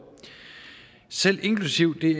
selv inklusive det